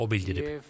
O bildirib.